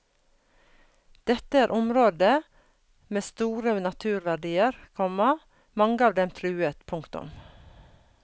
Dette er områder med store naturverdier, komma mange av dem truet. punktum